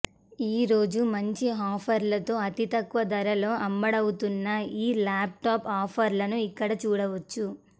ఈరోజు మంచి ఆఫర్లతో అతితక్కువ ధరలో అమ్ముడవుతున్నఈ ల్యాప్ టాప్ ఆఫర్లను ఇక్కడ చూడవచ్చు